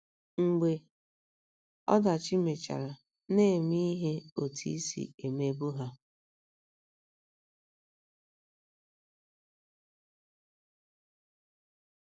Mgbe ọdachi mechara, na - eme ihe otú i si emebu ha